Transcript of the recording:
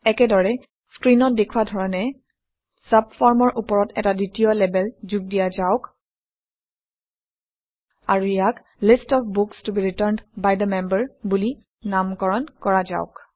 একেদৰে স্ক্ৰীনত দেখুওৱা ধৰণে চাবফৰ্মৰ ওপৰত এটা দ্বিতীয় লেবেল যোগ দিয়া যাওক আৰু ইয়াক লিষ্ট অফ বুক্স ত be returned by the member বুলি নামকৰণ কৰা যাওক